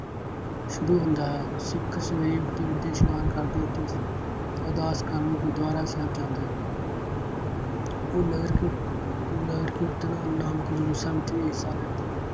ਸ਼ੁਰੂ ਹੁੰਦਾ ਹੈ। ਸਿੱਖ ਸਵੇਰੇ ਉੱਠਦੇ ਉੱਠਦੇ ਇਸ਼ਨਾਨ ਕਰਦੇ ਅਤੇ ਅਰਦਾਸ ਕਰਨ ਲਈ ਗੁਰੂਦੁਆਰਾ ਸਾਹਿਬ ਜਾਂਦੇ ਉਹ ਨਗਰ ਕੀਰ~ ਨਗਰ ਕੀਰਤਨ ਨਾਨਕਮਈ ਸੰਮਤੀ ਹਿੱਸਾ ਲੈਂਦੇ।